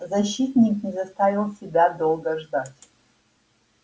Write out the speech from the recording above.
защитник не заставил себя долго ждать